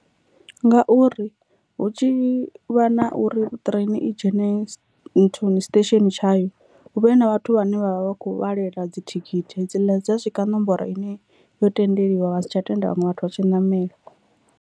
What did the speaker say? Ngauri hu tshi vha na uri ṱireni i dzhene nthuni station tsha yo hu vhe na vhathu vhane vha vha vha kho vhalela dzithikhithi hedziḽa dza swika nomboro ine yo tendeliwa vha sa tsha tenda vhaṅwe vhathu vha tshi namela.